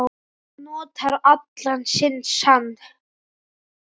Hann notar allan sinn sann